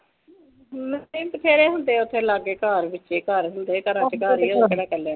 ਨਹੀਂ ਬਥੇਰੇ ਹੁੰਦੇ ਆ ਓਥੇ ਲਾਗੇ ਘਰ ਵਿੱਚੇ ਘਰ ਹੁੰਦੇ ਆ ਘਰਾਂ ਚ ਘਰ ਡਰਨ ਦੀ ਕੀ ਗੱਲ ਆ